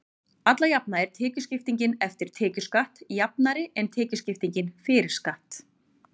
alla jafna er tekjuskiptingin „eftir tekjuskatt“ jafnari en tekjuskipting „fyrir skatt“